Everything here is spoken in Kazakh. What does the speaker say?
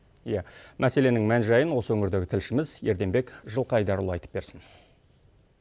иә мәселенің мән жайын осы өңірдегі тілшіміз ерденбек жылқайдарұлы айтып берсін